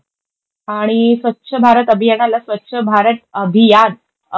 आणि स्वच्छ भारत अभियानाला स्वच्छ भारत अभियान अभि,